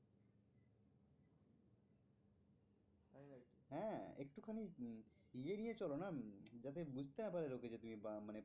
এড়িয়ে চলো না যাতে উম যাতে বুঝতে না পারে লোকে যে তুমি মানে